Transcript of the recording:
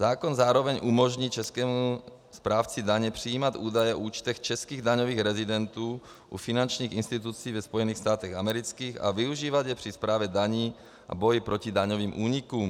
Zákon zároveň umožní českému správci daně přijímat údaje o účtech českých daňových rezidentů u finančních institucí ve Spojených státech amerických a využívat je při správě daní a boji proti daňovým únikům.